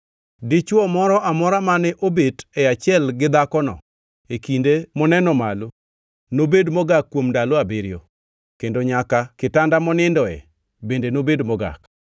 “ ‘Dichwo moro amora mane obet e achiel gi dhakono e kinde moneno malo nobed mogak kuom ndalo abiriyo, kendo nyaka kitanda monindoe bende nobed mogak.